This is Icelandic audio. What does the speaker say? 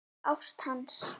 Ást hans.